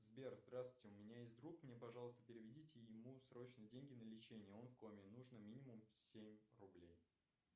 сбер здравствуйте у меня есть друг мне пожалуйста переведите ему срочно деньги на лечение он в коме нужно минимум семь рублей